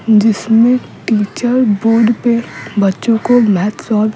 जिसमें -- teacher board पे बच्चों को मैथ्स सॉल्व --